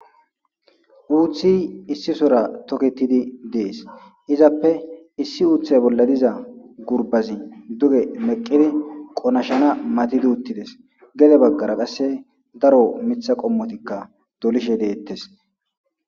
Uuthi issi sora toketidi dees. Izappe issi uuthay bolla diza gurbazi duge meqqidi qonashana matidi uttides. Gede baggara qasse daro miththa qommotikka dolishe deettes.